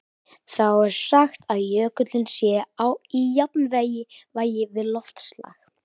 Þá er sagt að jökullinn sé í jafnvægi við loftslag.